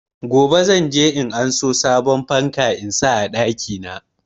Gobe zan je in karbo sabon fanka in sa a ɗaki na.